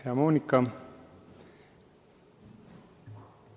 Hea Monika!